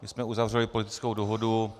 My jsme uzavřeli politickou dohodu.